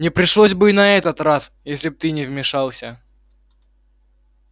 не пришлось бы и на этот раз если бы ты не вмешался